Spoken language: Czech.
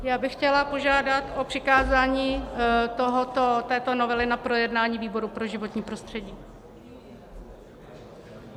Já bych chtěla požádat o přikázání této novely na projednání výboru pro životní prostředí.